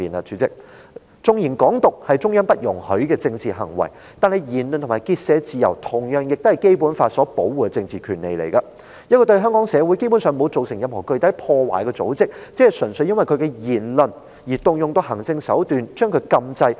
主席，縱然"港獨"是中央不容許的政治行為，但言論及結社自由同樣是受《基本法》保護的政治權利，一個對香港社會基本上沒有造成任何具體破壞的組織，只純粹因為其言論而動用行政手段將其禁制。